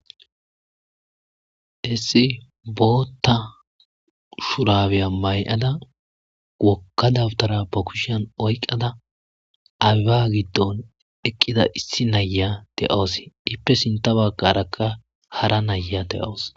hessi bootta shurabeya may7ada wokkadawtara ba kushan oyqada awiba giddon eqqida issi naya de7oos ippe sinta baqarakka hara naya de7oos